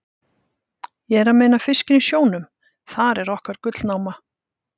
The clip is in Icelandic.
Ég er að meina fiskinn í sjónum, þar er okkar gullnáma.